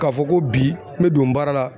K'a fɔ ko bi n bɛ don baara la.